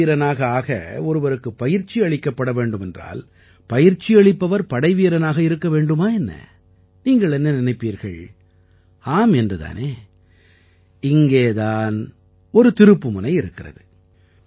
படை வீரனாக ஆக ஒருவருக்குப் பயிற்சி அளிக்கப்பட வேண்டும் என்றால் பயிற்சி அளிப்பவர் படைவீரனாக இருக்க வேண்டுமா என்ன நீங்கள் என்ன நினைப்பீர்கள் ஆம் என்று தானே இங்கே தான் ஒரு திருப்புமுனை இருக்கிறது